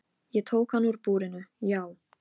Baldur, hringdu í Atenu.